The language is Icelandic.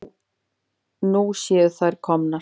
Nú séu þær komnar.